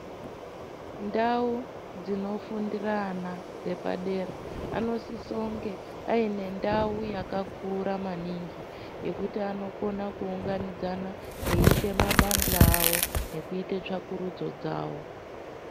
Ndau dzinofundira ana epadera anosise kunge aine ndau yakakura maningi yekuti anokona kuunganidzana eiite mabandla awo nekuite tsvakurudzo dzawo.